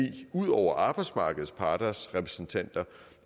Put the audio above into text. ud over arbejdsmarkedets parters repræsentanter